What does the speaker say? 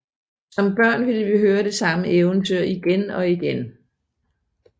Som børn ville vi høre det samme eventyr igen og igen